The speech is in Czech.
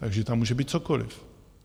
Takže tam může být cokoliv.